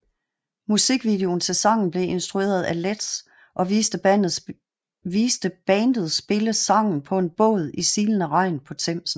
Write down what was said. Musikvideoen til sangen blev instrueret af Letts og viste bandet spille sangen på en båd i silende regn på Themsen